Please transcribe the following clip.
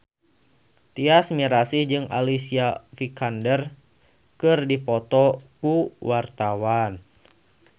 Tyas Mirasih jeung Alicia Vikander keur dipoto ku wartawan